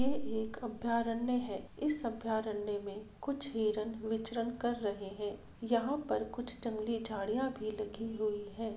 यह एक अभ्यारण्य है इस अभ्यारण्य मे कुछ हिरण विचरण कर रहे है यहां पर कुछ जंगली झड़िया भी लगी हुई है।